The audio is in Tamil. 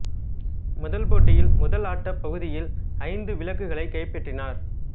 முதல் போட்டியில் முதல் ஆட்ட பகுதியில் ஐந்து விளக்குகளை கைப்பற்றினார்